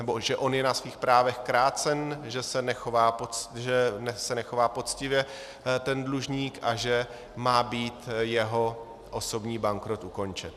nebo že on je na svých právech krácen, že se nechová poctivě ten dlužník a že má být jeho osobní bankrot ukončen.